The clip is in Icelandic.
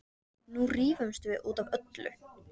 Nú rífumst við út af öllu.